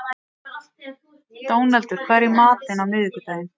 Dónaldur, hvað er í matinn á miðvikudaginn?